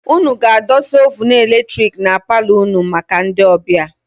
Ụnụ ga-adọsa oovunu eletiriki na paalo ụnụ maka ndị ọbịa.